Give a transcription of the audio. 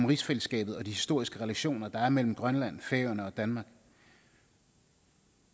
rigsfællesskabet og de historiske relationer der er mellem grønland færøerne og danmark